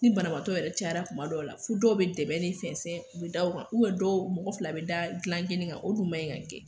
Ni banabaatɔ yɛrɛ cayara kuma dɔw la fɔ dɔw be dɛbɛn ne fɛnsɛn u be da o kan ubɛn dɔw mɔgɔ fila be da gilan kelen kan o dun maɲi ka kɛ